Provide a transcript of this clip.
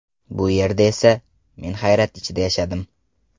Bu yerda esa... Men hayrat ichida yashadim.